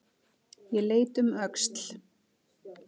Ég leit um öxl.